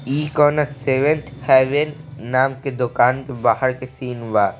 इ कोनो seventh heaven नाम के दुकान के बाहर के सीन बा।